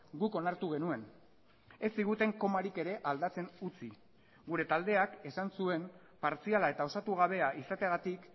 guk onartu genuen ez ziguten komarik ere aldatzen utzi gure taldeak esan zuen partziala eta osatu gabea izateagatik